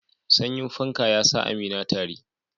Sanyin fanka ya sa Amina tari.